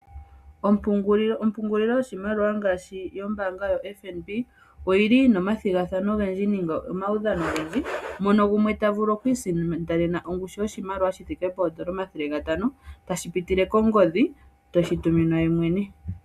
Ompungulilo yoshimaliwa yombaanga yoFNB oyili yina omathigathano ogendji nenge omaudhano ogendji. Mono gumwe ta vulu okwiisindanena oshimaliwa shoondola eyovi nomathele gatano teshi tuminwa ye mwene kongodhi.